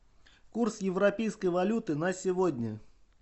курс европейской валюты на сегодня